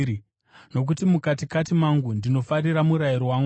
Nokuti mukatikati mangu ndinofarira murayiro waMwari;